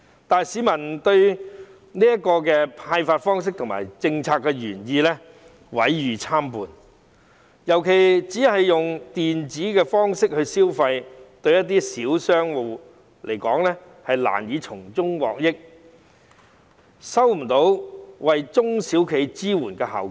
但是，市民對有關消費券的派發方式和政策原意毀譽參半，尤其只是利用電子方式來消費，對一些小商戶而言是難以從中獲益，未能達到為中型、小型企業提供支援的效果。